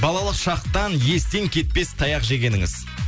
балалық шақтан естен кетпес таяқ жегеніңіз